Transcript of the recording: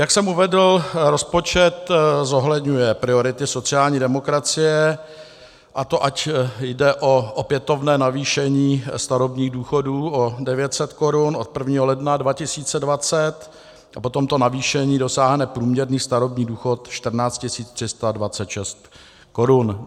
Jak jsem uvedl, rozpočet zohledňuje priority sociální demokracie, a to ať jde o opětovné navýšení starobních důchodů o 900 korun od 1. ledna 2020, a po tomto navýšení dosáhne průměrný starobní důchod 14 326 korun.